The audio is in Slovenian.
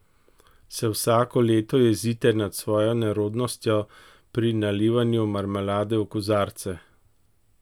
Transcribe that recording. Se vsako leto jezite nad svojo nerodnostjo pri nalivanju marmelade v kozarce?